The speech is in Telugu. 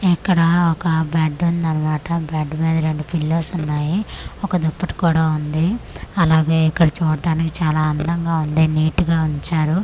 ఇక్కడ ఒక బెడ్ ఉంది అన్నమాట బెడ్ మీద రెండు పిల్లోస్ ఉన్నాయి ఒక దుప్పటి కూడా ఉంది అలాగే ఇక్కడ చూట్టానికి చాలా అందంగా ఉంది నీట్ గా ఉంచారు.